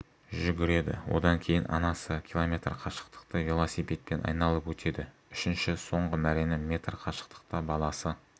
жүгіреді одан кейін анасы км қашықтықты велосипедпен айналып өтеді үшінші соңғы мәрені метр қашықтықта баласы